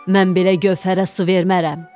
Mən belə gövhərə su vermərəm.